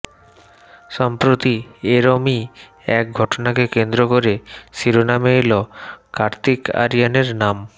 সম্প্রতি এরমই এক ঘটনাকে কেন্দ্র করে শিরোনামে এলও কার্তিক আরিয়ানের নাম